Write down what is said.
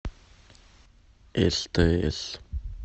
стс